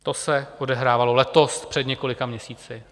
To se odehrávalo letos, před několika měsíci.